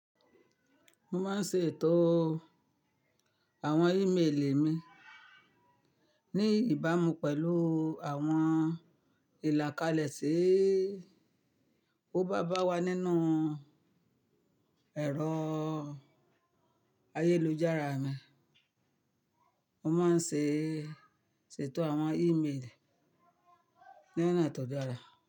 Mo máa ń ṣètò àwọn ímeèlì mi ní ìbámu pẹ̀lú àwọn ìlà kalẹ̀ ti ó bá báwa nínú ẹ̀rọ ayélujára mi. Mo máa ń ṣètò àwọn ímeèlì ní ọ̀nà tó dára.